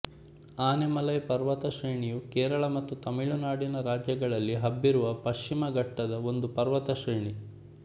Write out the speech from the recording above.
ಆನೈಮಲೈ ಪರ್ವತ ಶ್ರೇಣಿ ಯು ಕೇರಳ ಮತ್ತು ತಮಿಳು ನಾಡು ರಾಜ್ಯಗಳಲ್ಲಿ ಹಬ್ಬಿರುವ ಪಶ್ಚಿಮ ಘಟ್ಟದ ಒಂದು ಪರ್ವತ ಶ್ರೇಣಿ